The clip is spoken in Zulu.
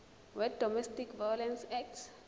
wedomestic violence act